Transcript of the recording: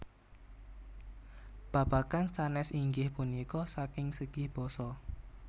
Babagan sanés inggih punika saking segi basa